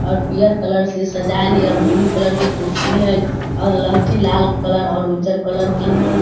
और पियर कलर से सजायल हय और ब्लू कलर के कुर्सी हय और लहठी लाल कलर और उज्जर कलर के है।